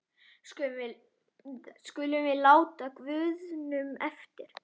skulum við láta guðunum eftir.